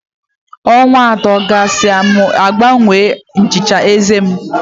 Ọnwa atọ gasịa M gbanwee nchicha eze m.